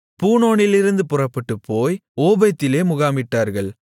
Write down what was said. பூனோனிலிருந்து புறப்பட்டுப்போய் ஓபோத்திலே முகாமிட்டார்கள்